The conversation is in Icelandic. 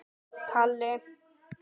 Lillý: Ætlarðu að skoða þá?